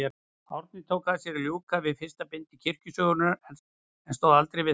Árni tók að sér að ljúka við fyrsta bindi kirkjusögunnar, en stóð aldrei við það.